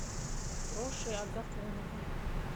проше агафоновой